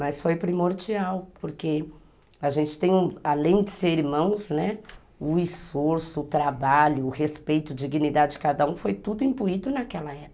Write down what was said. Mas foi primordial, porque a gente tem, além de ser irmãos, né, o esforço, o trabalho, o respeito, a dignidade de cada um foi tudo imbuído naquela época.